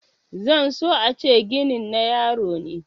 zan so a ce ginin na yaro ne